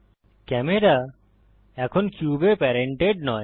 camera এখন কিউবে parented নয়